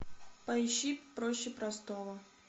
поищи проще простого